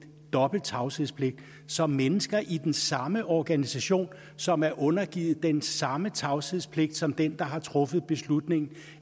dobbelt tavshedspligt som mennesker i den samme organisation som er undergivet den samme tavshedspligt som den der har truffet beslutningen